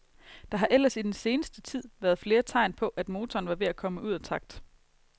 Der har ellers i den seneste tid været flere tegn på, at motoren var ved at komme ud af takt.